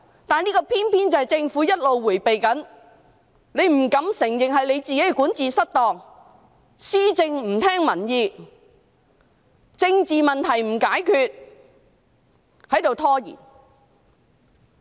然而，這偏偏是政府一直迴避的，不敢承認自己管治失當，施政不聽民意，不去解決政治問題，只懂拖延。